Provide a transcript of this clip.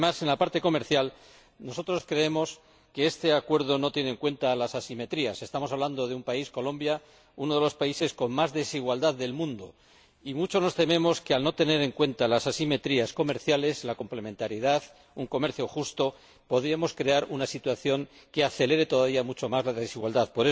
Pero, además, nosotros creemos que la parte comercial de este Acuerdo no tiene en cuenta las asimetrías. Estamos hablando de un país, Colombia, que es uno de los países con más desigualdades del mundo, y mucho nos tememos que, al no tener en cuenta las asimetrías comerciales, la complementariedad, un comercio justo, podríamos crear una situación que acelere todavía mucho más las desigualdades.